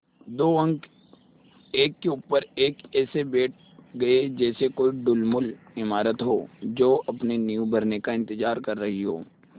दो अंक एक के ऊपर एक ऐसे बैठ गये जैसे कोई ढुलमुल इमारत हो जो अपनी नींव भरने का इन्तज़ार कर रही हो